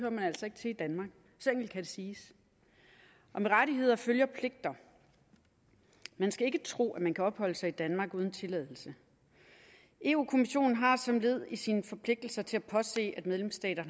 siges og med rettigheder følger pligter man skal ikke tro at man kan opholde sig i danmark uden tilladelse europa kommissionen har som led i sine forpligtelser til at påse at medlemsstater